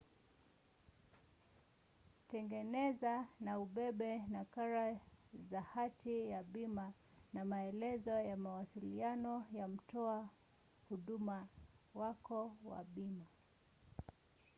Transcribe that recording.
tengeneza na ubebe nakala za hati ya bima na maelezo ya mawasiliano ya mtoa huduma wako wa bima